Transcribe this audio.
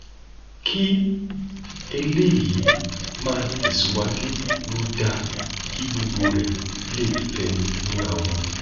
kí eléyìí máa tẹsíwájú ló dáa kí gbogbo rẹ lè fẹnu múra wọn